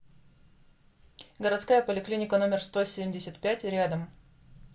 городская поликлиника номер сто семьдесят пять рядом